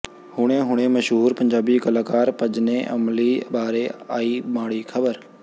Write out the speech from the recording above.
ਹੁਣੇ ਹੁਣੇ ਮਸ਼ਹੂਰ ਪੰਜਾਬੀ ਕਲਾਕਾਰ ਭਜਨੇ ਅਮਲੀ ਬਾਰੇ ਆਈ ਮਾੜੀ ਖਬਰ